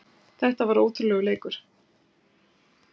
Þetta var ótrúlegur leikur